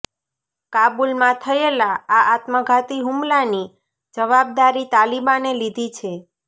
કાબુલમાં થયેલા આ આત્મઘાતી હુમલાની જવાબદારી તાલિબાને લીધી છે